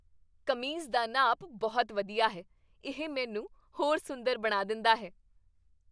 ਕਮੀਜ਼ ਦਾ ਨਾਪ ਬਹੁਤ ਵਧੀਆ ਹੈ। ਇਹ ਮੈਨੂੰ ਹੋਰ ਸੁੰਦਰ ਬਣਾ ਦਿੰਦਾ ਹੈ।